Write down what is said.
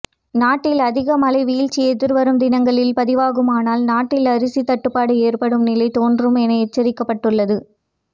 நாட்டில் அதிக மழை வீழ்ச்சி எதிர்வரும் தினங்களில் பதிவாகுமானால் நாட்டில் அரிசி தட்டுப்பாடு ஏற்படும் நிலை தோன்றும் என எச்சரிக்கப்பட்டுள்ளது